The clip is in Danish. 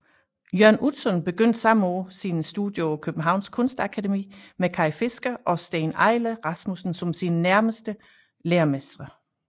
Jørn Utzon begyndte samme år sine studier på Københavns Kunstakademi med Kay Fisker og Steen Eiler Rasmussen som sine læremestre